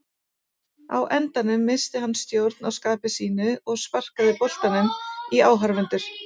Á endanum missti hann stjórn á skapi sínu og sparkaði boltanum í áhorfendurna.